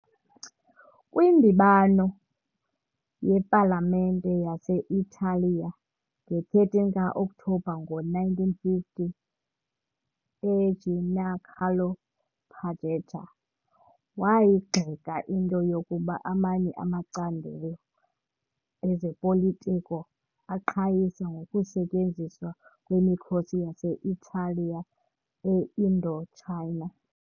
Kwindibano yepalamente yase-Italiya nge-13 ka-Okthobha ngo-1950, uGiancarlo Pajetta wayigxeka into yokuba amanye amacandelo ezopolitiko aqhayisa ngokusetyenziswa kwemikhosi yase-Italiya e-Indochina.